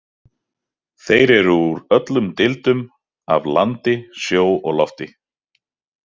Þeir eru úr öllum deildum, af landi, sjó og lofti.